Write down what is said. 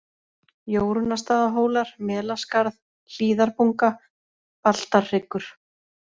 Jórunnarstaðahólar, Melaskarð, Hlíðarbunga, Baltarhryggur